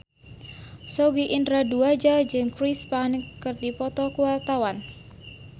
Sogi Indra Duaja jeung Chris Pane keur dipoto ku wartawan